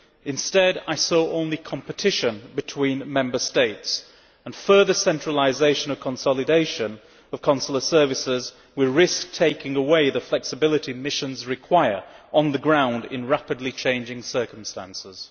Instead I saw only competition between Member States, and further centralisation or consolidation of consular services will risk taking away the flexibility missions require on the ground in rapidly changing circumstances.